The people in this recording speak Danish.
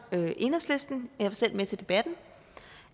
enhedslisten og jeg var selv med til debatten